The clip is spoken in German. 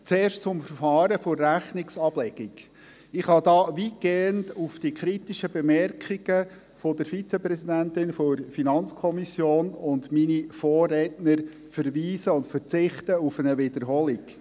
Zuerst zum Verfahren der Rechnungsablegung: Ich kann da weitgehend auf die kritischen Bemerkungen der Vizepräsidentin der FiKo und meiner Vorredner verweisen und verzichte auf eine Wiederholung.